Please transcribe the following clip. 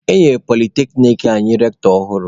E nyere polyteknic anyị rektọ ọhụrụ.